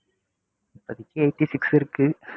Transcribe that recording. இப்போதைக்கு eighty-six இருக்கு.